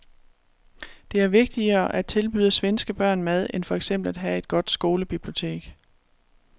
Det er vigtigere at tilbyde svenske børn mad end for eksempel at have et godt skolebibliotek.